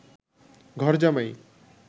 ঘরজামাই